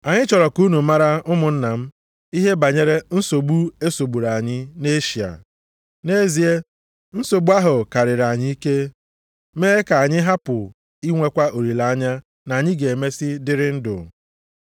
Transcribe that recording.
Anyị chọrọ ka unu mara ụmụnna m, ihe banyere nsogbu e sogburu anyị nʼEshịa. Nʼezie, nsogbu ahụ karịrị anyị ike, mee ka anyị hapụ inwekwa olileanya na anyị ga-emesi dịrị ndụ.